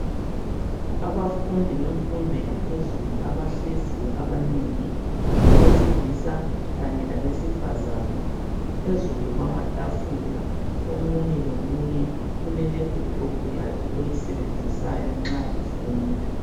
Abafundi bemfundo yaphezulu abahleziyo abanengi abesilisa kanye labesifazana. Phezulu kwamatafula omunye lomunye ulelaptop yakhe ayisebenzisayo nxa efunda.